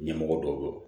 Ɲɛmɔgɔ dɔ bɛ yen